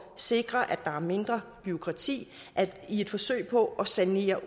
sikre at der er mindre bureaukrati i et forsøg på at sanere